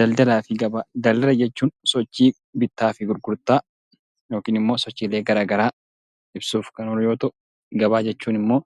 Daldala jechuun sochii bittaa fi gurgurtaa yookiin immoo sochiilee garaagaraa yoo ta'u, gabaan immoo